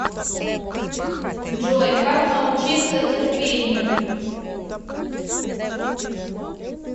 джой как научиться терпению